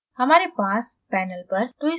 हमारे पर panel पर twist boat है